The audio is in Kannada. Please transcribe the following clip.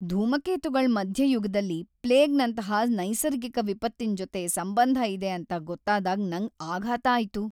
ಧೂಮಕೇತುಗಳ್ ಮಧ್ಯಯುಗದಲ್ ಪ್ಲೇಗ್ ನಂತಹ ನೈಸರ್ಗಿಕ ವಿಪತ್ತಿನ್ ಜೊತೆ ಸಂಬಂಧ ಇದೆ ಅಂತ ಗೊತ್ತಾದಾಗ್ ನಂಗ್ ಆಘಾತ ಆಯ್ತು.